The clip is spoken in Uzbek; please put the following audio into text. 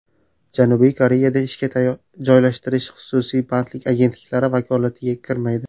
Janubiy Koreyada ishga joylashtirish xususiy bandlik agentliklari vakolatiga kirmaydi.